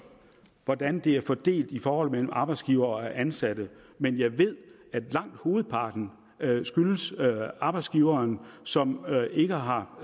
hvordan det er fordelt i forholdet mellem arbejdsgivere og ansatte men jeg ved at langt hovedparten skyldes arbejdsgivere som ikke har